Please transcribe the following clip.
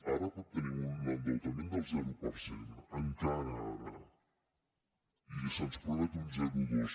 ara tenim un endeutament del zero per cent encara ara i se’ns promet un zero coma dos